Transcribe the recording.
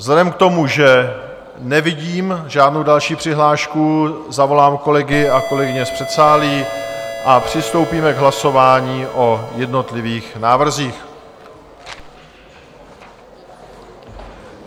Vzhledem k tomu, že nevidím žádnou další přihlášku, zavolám kolegy a kolegyně z předsálí a přistoupíme k hlasování o jednotlivých návrzích.